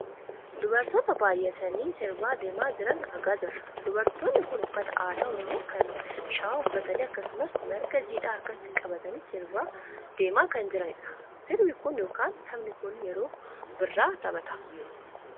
Dubartoota baayyatanii sirbaa deemaa jiran argaa jirra. Dubartootni kun uffata aadaa Oromoo kan shawaa uffatanii akkasumas marga jiidhaa harkatti qabatanii sirba deemaa kan jiranidha. Sirbi kun yookaan taphni kun yeroo birraa taphatama.